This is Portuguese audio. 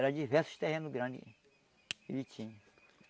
Era diversos terrenos grandes que ele tinha.